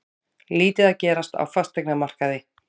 Lítið að gerast á fasteignamarkaði